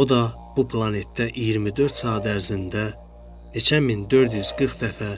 O da bu planetdə 24 saat ərzində neçə min 440 dəfə